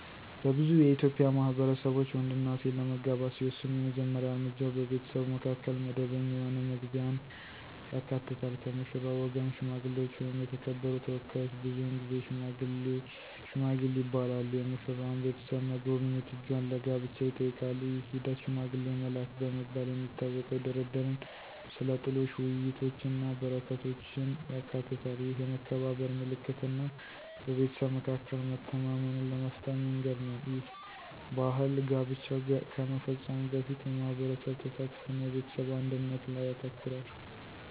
በብዙ የኢትዮጵያ ማህበረሰቦች፣ ወንድና ሴት ለመጋባት ሲወስኑ የመጀመሪያ እርምጃው በቤተሰቡ መካከል መደበኛ የሆነ መግቢያን ያካትታል። ከሙሽራው ወገን ሽማግሌዎች ወይም የተከበሩ ተወካዮች (ብዙውን ጊዜ "ሺማጊል" ይባላሉ) የሙሽራዋን ቤተሰብ መጎብኘት እጇን ለጋብቻ ይጠይቃሉ። ይህ ሂደት፣ “ሽማግሌ መላክ” በመባል የሚታወቀው፣ ድርድርን፣ ስለ ጥሎሽ ውይይቶችን እና በረከቶችን ያካትታል። ይህ የመከባበር ምልክት እና በቤተሰብ መካከል መተማመንን ለመፍጠር መንገድ ነው. ይህ ባህል ጋብቻው ከመፈጸሙ በፊት የማህበረሰብ ተሳትፎ እና የቤተሰብ አንድነት ላይ ያተኩራል።